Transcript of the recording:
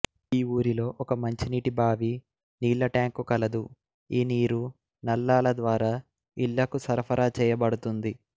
ఈ ఊరిలో ఒక మంచినీటి బావి నీళ్ల టాంకు కలదు ఈ నీరు నళ్లాల ద్వారా ఇళ్లకు సరఫరా చేయబడుతుంది